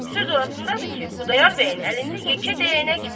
Söz orasındadır ki, Xudayar bəyin əlində yekə dəyənək var.